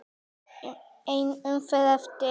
Ein umferð eftir.